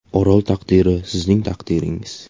Orol taqdiri sizning taqdiringiz.